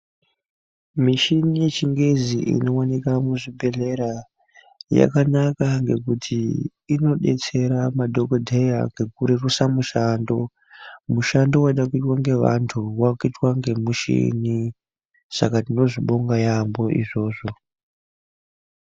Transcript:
Michina yechingezi inowanikwa muzvibhedhlera yakanaka ngekuti inodetsera madhokoteya mgekurerusa mishando. Mushando weida kuitwa ngevantu wakuitwa ngemuchini ,saka tinozvibonga yaambo izvozvo.